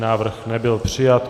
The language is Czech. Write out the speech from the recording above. Návrh nebyl přijat.